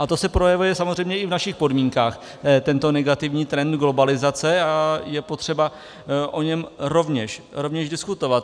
A to se projevuje samozřejmě i v našich podmínkách, tento negativní trend globalizace, a je třeba o něm rovněž diskutovat.